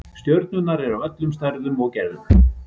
Stjörnurnar eru af öllum stærðum og gerðum.